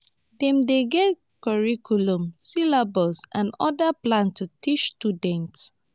dem dey get curriculum syllabus and oda plans to teach students